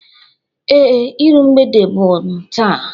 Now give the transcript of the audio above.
Ee, ịru mgbede m bu taa.